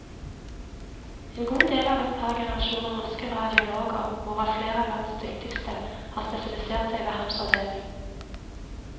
En god del av et par generasjoner norske radiologer, hvorav flere av landets dyktigste, har spesialisert seg ved hans avdeling.